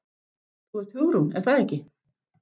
Þú ert Hugrún, er það ekki?